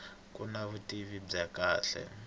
ku na vutivi bya kahle